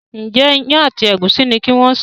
Njé Iyán àti egusi ní kí wón ṣe?